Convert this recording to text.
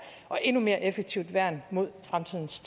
og endnu mere effektivt værn mod fremtidens